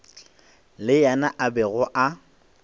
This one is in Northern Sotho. le yena a bego a